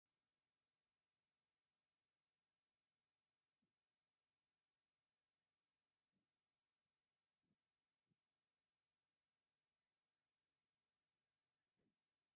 መብዛሕትኡ ኣብ ገጠር ዝርከብ ማሕበረ-ሰብ በኣግባቡ አዳልዩ ንመስተ /ብፍላይ ድማ ንስዋ/ መተኣናገዲ ዝጥቀመሉ ኮይኑ ፤ ኣብ ከመይ ዝበሉ ከባብታት ይበቁል ?